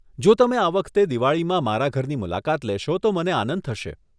જો તમે આ વખતે દિવાળીમાં મારા ઘરની મુલાકાત લેશો તો મને આનંદ થશે.